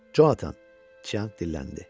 Conatan, Tcyanq dilləndi.